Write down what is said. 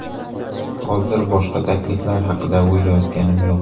Hozir boshqa takliflar haqida o‘ylayotganim yo‘q.